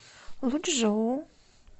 лучжоу